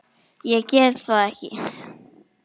Ég get það ekki